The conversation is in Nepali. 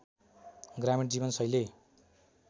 ग्रामीण जीवन शैली